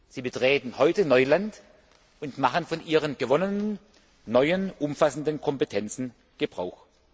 Sie betreten heute Neuland und machen von Ihren neu gewonnenen, umfassenden Kompetenzen Gebrauch.